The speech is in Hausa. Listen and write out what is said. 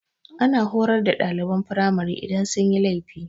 Ana horar da ɗaliban firamari idan sun yi laifi.